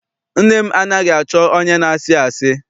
Nne m anaghị achọ onye na-asị asị.